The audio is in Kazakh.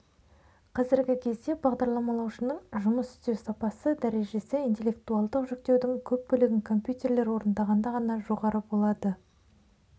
қазіргі кезде бағдарламалаушының жұмыс істеу сапасы дәрежесі интеллектуалдық жүктеудің көп бөлігін компьютерлер орындағанда ғана жоғары болады